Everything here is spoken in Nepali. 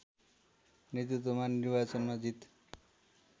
नेतृत्वमा निर्वाचनमा जीत